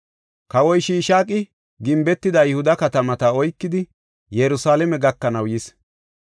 Kawoy Shishaaqi gimbetida Yihuda katamata oykidi Yerusalaame gakanaw yis.